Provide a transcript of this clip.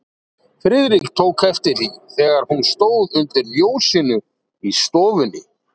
Friðrik tók eftir því, þegar hún stóð undir ljósinu í stofunni.